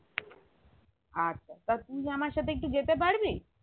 আচ্ছা তা তুই আমার সাথে একটু যেতে পারবি